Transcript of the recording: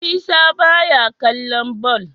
Isa baya kallon ball